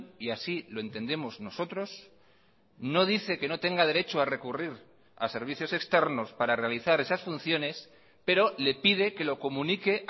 y así lo entendemos nosotros no dice que no tenga derecho a recurrir a servicios externos para realizar esas funciones pero le pide que lo comunique